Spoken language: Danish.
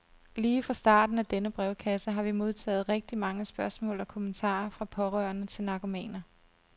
Lige fra starten af denne brevkasse har vi modtaget rigtig mange spørgsmål og kommentarer fra pårørende til narkomaner.